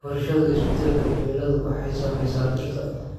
Barashada isbeddelka cimiladu waxay saamaysaa dhirta.